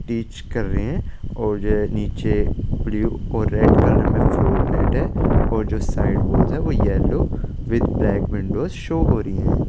Inch कर रहे है और ये निचे ब्लू और रेड कलर में फ्लोर गेट है और जो साइड वाल्स है yellow with black window show हो रही है ।